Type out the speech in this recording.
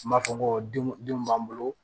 N b'a fɔ ko denw denw b'an bolo